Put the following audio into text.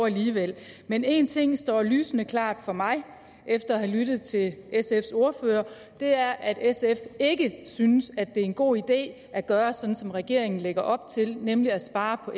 alligevel men en ting står lysende klart for mig efter have lyttet til sfs ordfører og det er at sf ikke synes at det er en god idé at gøre sådan som regeringen lægger op til nemlig at spare på